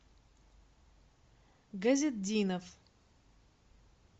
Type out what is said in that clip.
газетдинов